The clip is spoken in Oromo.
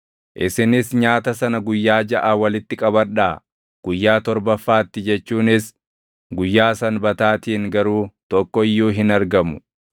Isinis nyaata sana guyyaa jaʼa walitti qabadhaa; guyyaa torbaffaatti jechuunis guyyaa Sanbataatiin garuu tokko iyyuu hin argamu.”